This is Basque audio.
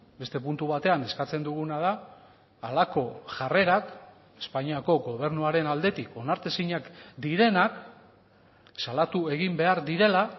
beste puntu batean eskatzen duguna da halako jarrerak espainiako gobernuaren aldetik onartezinak direnak salatu egin behar direla